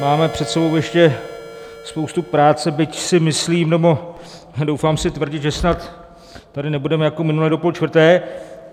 Máme před sebou ještě spoustu práce, byť si myslím, nebo doufám si tvrdit, že snad tady nebudeme jako minule do půl čtvrté.